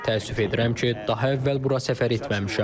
Təəssüf edirəm ki, daha əvvəl bura səfər etməmişəm.